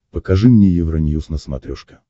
покажи мне евроньюз на смотрешке